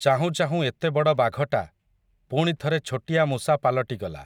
ଚାହୁଁ ଚାହୁଁ ଏତେ ବଡ଼ ବାଘଟା, ପୁଣି ଥରେ ଛୋଟିଆ ମୂଷା ପାଲଟିଗଲା ।